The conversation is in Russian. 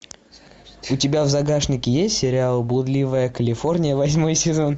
у тебя в загашнике есть сериал блудливая калифорния восьмой сезон